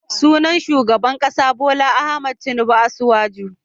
Sunan shugaban kasa Bola Ahmed Tinibu Asiwaju.